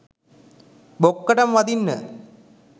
බොක්කට ම වදින්න